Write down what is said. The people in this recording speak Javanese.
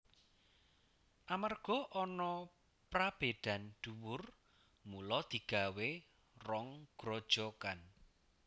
Amerga ana prabédan dhuwur mula digawé rong grojogan